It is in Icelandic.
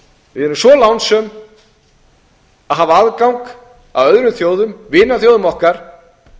við erum svo lánsöm að hafa aðgang að öðrum þjóðum vinaþjóðum okkar